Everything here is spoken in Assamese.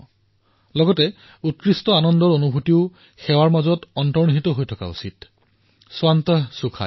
কিন্তু লগতে উৎকৃষ্ট আনন্দ স্বান্তঃ সুখায়ঃ এই ভাৱৰ অনুভূতিও সেৱাতেই অন্তৰ্নিহিত আছে